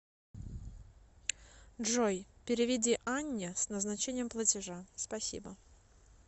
джой переведи анне с назначением платежа спасибо